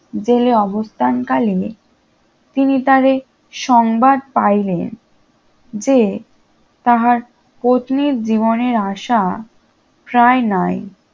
জেলে অবস্থান কালে তিনি তারে সংবাদ পাইলেন যে তাহার পত্নীর জীবনের আশা প্রায় নাই